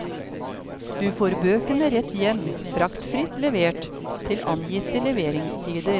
Du får bøkene rett hjem, fraktfritt levert, til angitte leveringstider.